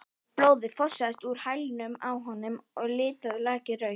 Blóðið fossaði úr hælnum á honum og litaði lakið rautt.